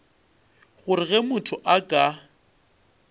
gore ge motho a ka